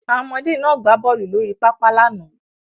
Àwọn ọmọdé náà gbá bọ́ọlù lórí pápá lánàá.